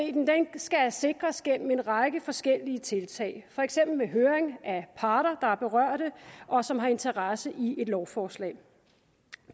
skal sikres gennem en række forskellige tiltag for eksempel ved høring af parter der er berørt og som har interesse i et lovforslag